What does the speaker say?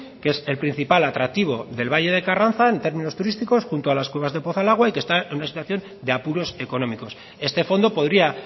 que es el principal atractivo del valle de carranza en términos turísticos junto a las cuevas de pozalagua y que está en una situación de apuros económicos este fondo podría